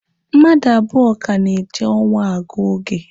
Mmadụ abụọ ka na-eji ọnwa agụ oge.